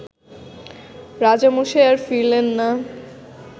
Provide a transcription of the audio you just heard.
রাজামশাই আর ফিরলেন না